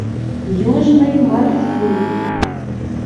южный маршрут